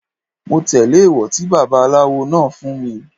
Mo tẹ́lẹ̀ èwọ̀ tí baba aláwo fún mi.